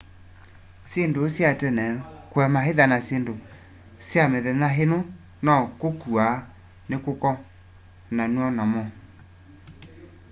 syinduũ sya tene kuema itha na syindũ sya mithenya ino na kũkua nikukonanwa namo